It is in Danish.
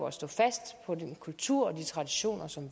at stå fast på den kultur og de traditioner som